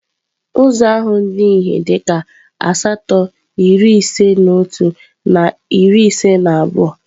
Ụzọ ahụ dị ihe dịka asatọ iri ise na otu na iri ise na abụọ.